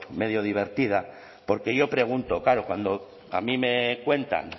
medio divertida porque yo pregunto claro cuando a mí me cuentan